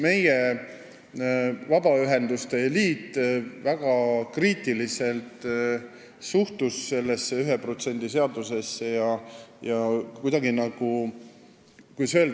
Meie vabaühenduste liit suhtus aga sellesse 1% seadusesse väga kriitiliselt.